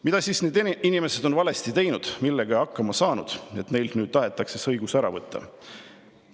Mida need inimesed on siis valesti teinud, millega hakkama saanud, et neilt nüüd tahetakse see õigus ära võtta?